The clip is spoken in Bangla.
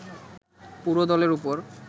পুরো দলের উপর